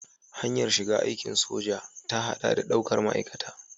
Hanyar shiga aikin soja ta haɗa da daukar ma'aikata.